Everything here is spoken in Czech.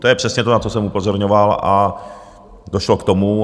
To je přesně to, na co jsem upozorňoval, a došlo k tomu.